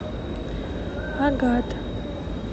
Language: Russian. агат